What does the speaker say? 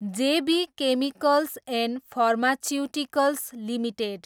जे B chemicals and pharmaceuticals limited